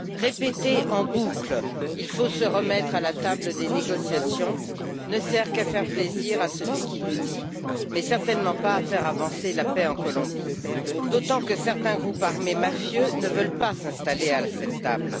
Répéter en boucle il faut se remettre à la table des négociations ne sert qu'à faire plaisir à celui qui le dit, mais certainement pas à faire avancer la paix en Colombie, d'autant que certains groupes armés mafieux ne veulent pas s'installer à cette table.